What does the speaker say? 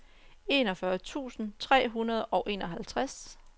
enogfyrre tusind tre hundrede og enoghalvtreds